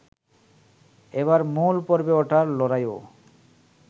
এবার মূল পর্বে ওঠার লড়াইয়েও